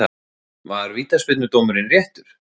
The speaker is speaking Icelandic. Var vítaspyrnudómurinn réttur?